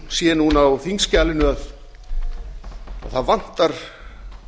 sé núna á þingskjalinu að það vantar